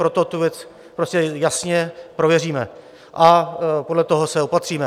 Proto tu věc prostě jasně prověříme a podle toho se opatříme.